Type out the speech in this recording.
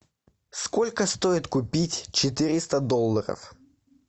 сколько стоит купить четыреста долларов